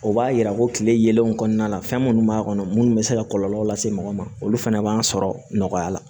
O b'a yira ko kile yelenw kɔnɔna na fɛn minnu b'a kɔnɔ munnu bɛ se ka kɔlɔlɔ lase mɔgɔ ma olu fɛnɛ b'an sɔrɔ nɔgɔya la